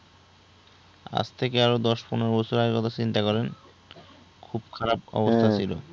আজ থেকে আরো দশ পনেরো বছর আগের কথা চিন্তা করেন খুব খারাপ অবস্থা ছিল।